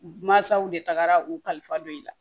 Mansaw de tagara u kalifa don i la